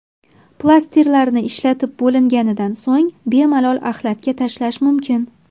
Plastirlarni ishlatib bo‘linganidan so‘ng bemalol axlatga tashlash mumkin.